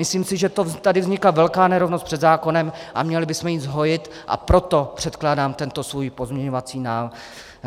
Myslím si, že tady vznikla velká nerovnost před zákonem a měli bychom ji zhojit, a proto předkládám tento svůj pozměňovací